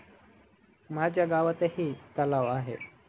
माझ्या गावातही तलाव आहे